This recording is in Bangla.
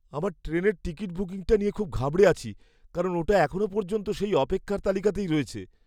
আমার ট্রেনের টিকিট বুকিংটা নিয়ে খুব ঘাবড়ে আছি, কারণ ওটা এখনও পর্যন্ত সেই অপেক্ষার তালিকাতেই রয়েছে।